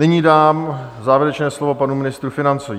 Nyní dám závěrečné slovo panu ministrovi financí.